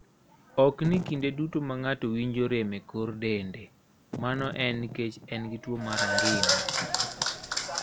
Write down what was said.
Ok ni kinde duto ma ng'ato winjo rem e kor dende, mano en nikech en gi tuwo mar angina.